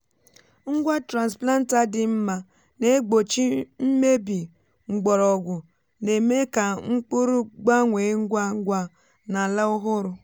ngwa transplanter dị mma na-egbochi mmebi mgbọrọgwụ na-eme ka mkpụrụ gbanwee ngwa ngwa n’ala ọhụrụ.